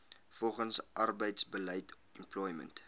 volgens arbeidsbeleid employment